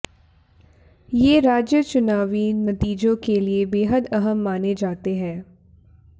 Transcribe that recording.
ये राज्य चुनावी नतीजों के लिए बेहद अहम माने जाते हैं